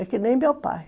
É que nem meu pai.